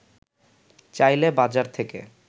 চাইলে বাজার থেকে